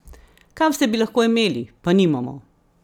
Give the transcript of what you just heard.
Kaj vse bi lahko imeli, pa nimamo?